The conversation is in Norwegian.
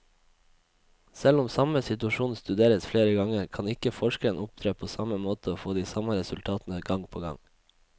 Selv om samme situasjon studeres flere ganger, kan ikke forskeren opptre på samme måte og få de samme resultatene gang på gang.